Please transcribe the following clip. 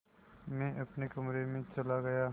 मैं अपने कमरे में चला गया